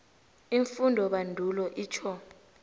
iimfundobandulo itjho